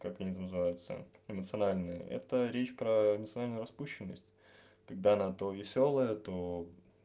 как они там называется эмоцианальный это речь про национальную распущенность когда она то весёлая то